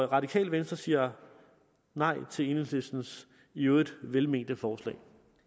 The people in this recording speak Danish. radikale venstre siger nej til enhedslistens i øvrigt velmente forslag